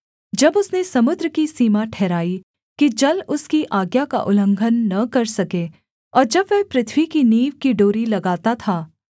जब उसने समुद्र की सीमा ठहराई कि जल उसकी आज्ञा का उल्लंघन न कर सके और जब वह पृथ्वी की नींव की डोरी लगाता था